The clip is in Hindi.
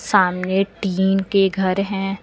सामने टीन के घर हैं।